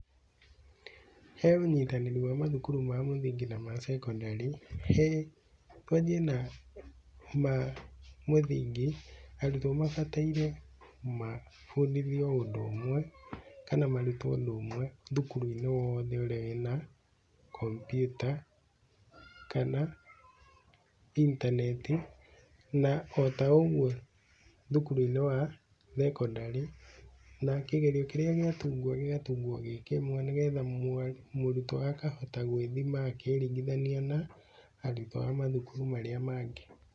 He ũnyitanĩri wa mathukuru ma mũthingi na ma cekondarĩ, he, twanjie na ma mũthingi, arutwo mabataire mabundithio ũndũ ũmwe, kana marutwo ũndũ ũmwe thukuru-inĩ wothe ũrĩa wĩna kompiuta kana intaneti, na o ta ũguo thukuru-inĩ wa thekondarĩ na kĩgerio kĩrĩa gĩatungwo gĩkĩmwe, nĩgetha mũrutwo akahota gwĩthima akĩringithania na arutwo a mathukuru marĩa mangĩ.